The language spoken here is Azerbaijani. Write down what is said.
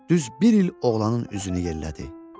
Düz bir il oğlanın üzünü yellədi.